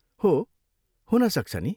हो, हुन सक्छ नि।